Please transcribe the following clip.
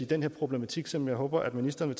den her problematik som jeg håber at ministeren